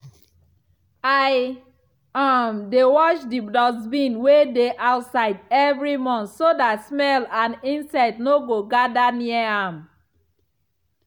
i um dey wash the dustbin wey dey outside every month so that smell and insect no go gather near am.